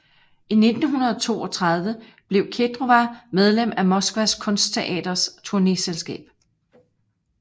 I 1932 blev Kedrova medlem af Moskvas Kunstteaterets turnéselskab